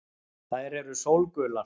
Þær eru sólgular.